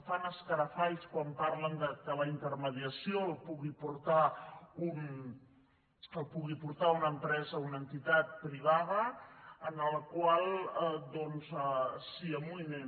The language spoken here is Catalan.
fan escarafalls quan parlen que la intermediació la pugui portar una empresa una entitat privada en la qual doncs s’hi amoïnin